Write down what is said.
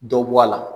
Dɔ bɔ a la